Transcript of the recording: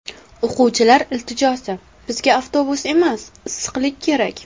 O‘quvchilar iltijosi: Bizga avtobus emas, issiqlik kerak.